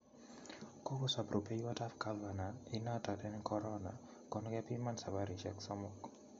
Kogosop rupeiwot ap gavana inoton en corona kon kepiman saparishek somok